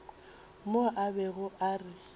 mo a bego a re